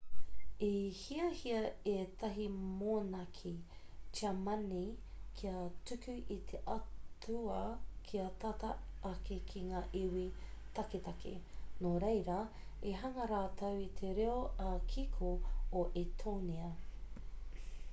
i hiahia ētahi monaki tiamani kia tuku i te atua kia tata ake ki ngā iwi taketake nō reira i hanga rātou i te reo ā-kiko o etōnia